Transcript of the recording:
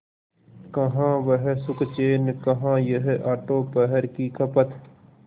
कहाँ वह सुखचैन कहाँ यह आठों पहर की खपत